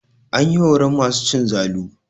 An yi horon masu cin zalu.